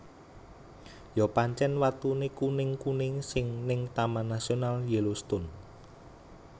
Yo pancen watune kuning kuning sing ning Taman Nasional Yellowstone